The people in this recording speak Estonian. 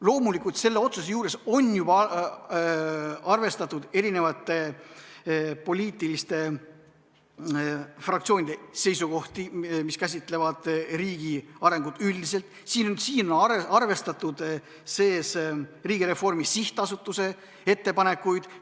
Loomulikult, selle otsuse juures on juba arvestatud poliitiliste fraktsioonide seisukohti, mis käsitlevad riigi arengut üldiselt, siin on arvestatud Riigireformi SA ettepanekuid.